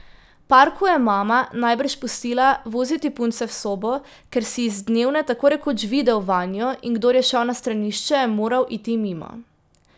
Parku je mama najbrž pustila voziti punce v sobo, ker si iz dnevne tako rekoč videl vanjo, in kdor je šel na stranišče, je moral iti mimo.